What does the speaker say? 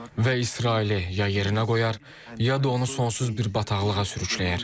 və İsraili ya yerinə qoyar, ya da onu sonsuz bir bataqlığa sürükləyər.